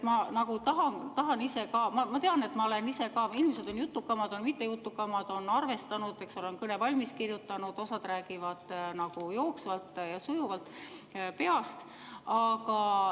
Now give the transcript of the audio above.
Mõni inimene on jutukam, mõni mitte nii jutukas, osa on kõne valmis kirjutanud, osa räägib jooksvalt ja sujuvalt peast.